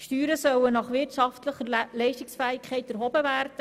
Steuern sollen nach wirtschaftlicher Leistungsfähigkeit erhoben werden.